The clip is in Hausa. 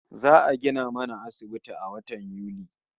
Za'a gina mana asibiti a watan Yuli